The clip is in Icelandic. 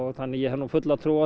þannig að ég hef nú fulla trú á